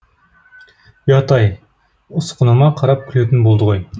ұят ай ұсқыныма қарап күлетін болды ғой